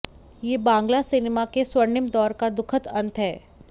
यह बांग्ला सिनेमा के स्वर्णिम दौर का दुखद अंत है